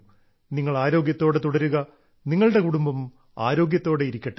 നിങ്ങൾ ആരോഗ്യത്തോടെ തുടരുക നിങ്ങളുടെ കുടുംബം ആരോഗ്യത്തോടെ ഇരിക്കട്ടെ